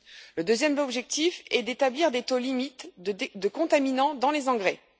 Le second objectif est d'établir des taux limites de contaminants dans les engrais.